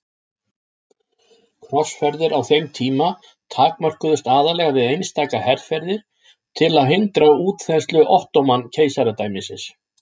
Krossferðir á þeim tíma takmörkuðust aðallega við einstaka herferðir til að hindra útþenslu Ottóman-keisaradæmisins.